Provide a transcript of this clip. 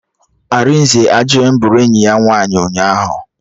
Arinze ajụghị m bụrụ enyi ya nwaanyị ụnyaahụ